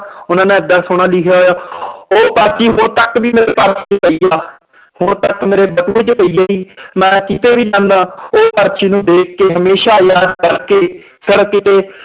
ਉਹਨਾਂ ਨੇ ਏਡਾ ਸੋਹਣਾ ਲਿਖਿਆ ਹੋਇਆ ਉਹ ਕਾਪੀ ਹੁਣ ਤੱਕ ਵੀ ਮੇਰੇ ਪਈ ਆ ਹੁਣ ਤੱਕ ਮੇਰੇ ਪਈ ਹੈ ਮੈਂ ਕਿਤੇ ਵੀ ਜਾਨਾ ਉਹ ਪਰਚੀ ਨੂੰ ਦੇਖ ਕੇ ਹਮੇਸ਼ਾ ਯਾਦ ਕਰਕੇ